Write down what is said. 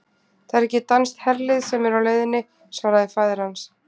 Það er ekki danskt herlið sem er á leiðinni, svaraði faðir hans.